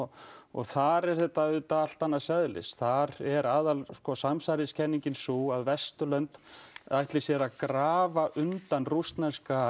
þar er þetta auðvitað allt annars eðlis þar er samsæriskenningin sú að Vesturlönd ætli sér að grafa undan rússneska